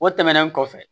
O tɛmɛnen kɔfɛ